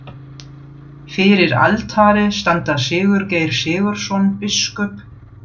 Fyrir altari standa Sigurgeir Sigurðsson, biskup